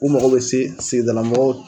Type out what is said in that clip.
U mago bɛ se sigidala mɔgɔw